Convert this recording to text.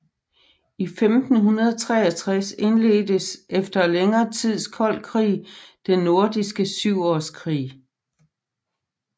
I 1563 indledtes efter længere tids kold krig Den Nordiske Syvårskrig